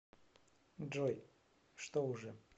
джой что уже